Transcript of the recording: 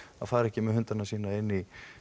fara ekki með hundana sína inn í